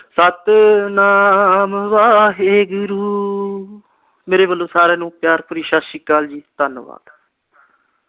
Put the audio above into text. ਸਤਿਨਾਮ ਵਾਹਿਗੁਰੂ, ਮੇਰੇ ਵਲੋਂ ਸਾਰਿਆਂ ਨੂੰ ਪਿਆਰ ਭਰੀ ਸਤਿ ਸ਼੍ਰੀ ਅਕਾਲ ਜੀ, ਧੰਨਵਾਦ।